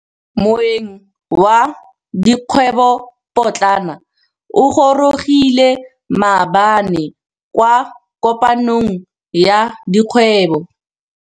Moêng wa dikgwêbô pôtlana o gorogile maabane kwa kopanong ya dikgwêbô.